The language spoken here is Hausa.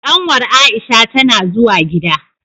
Kanwar Aisha tana zuwa gida.